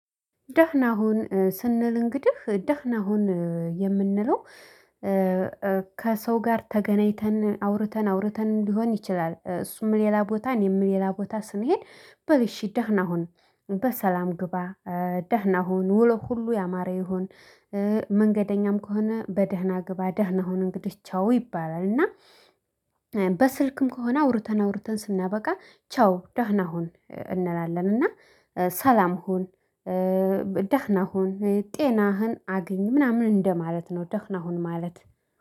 ደህና ሁን ስንል እንግዲህ ደህና ሁን የምንለው ከሰው ጋር ተገናኝተን አውርተን አውርተን ሊሆን ይችላል። ሌላ ቦታ እኔም ሌላ ቦታ ስንሄድ በል እሺ ደህና ሁን በሰላም ግባ። ደህና ሁን ወሎህ ሁሉ ያማረ ይሁን። መንገደኛም ከሆነ በደህና ግባ ደህና ሁን እንግዲህ ቻው ይባላል። እና በስልክም ከሆነ አውርተን አውርተን ስናበቃ ቻው ደህና ሁን እንላለን። እና ሰላም ሁን። ደህና ሁን ጤናህን አግኝ ምናምን እንደማለት ነው ደህና ሁን ማለት